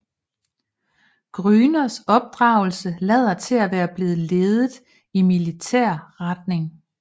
Grüners opdragelse lader til at være blevet ledet i militær retning